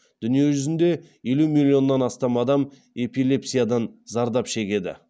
дүниежүзінде елу миллионнан астам адам эпилепсиядан зардап шегеді